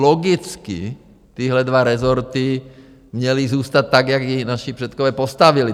Logicky tyhle dva rezorty měly zůstat tak, jak je naši předkové postavili.